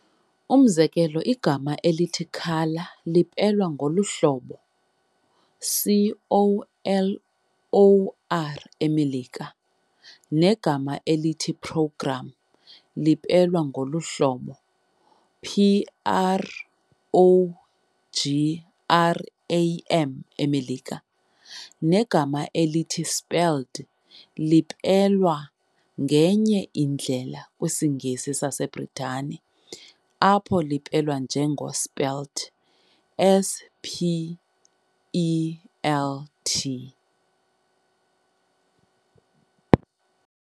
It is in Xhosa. Umzekelo igama elithi "colour" lipelwa ngolu hlobo "color" eMelika, negama elithi "programme" lipelwa ngolu hlobo "program" eMelika. Negama elithi "spelled" lipelwa ngenye indlela kwisiNgesi saseBritane, apho lipelwa njengo "spelt".